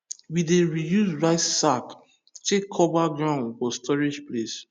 we dey reuse rice sack take cover ground for storage place